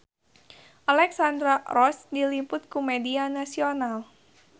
Alexandra Roach diliput ku media nasional